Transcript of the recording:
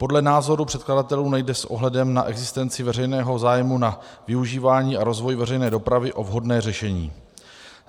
Podle názoru předkladatelů nejde s ohledem na existenci veřejného zájmu na využívání a rozvoji veřejné dopravy o vhodné řešení.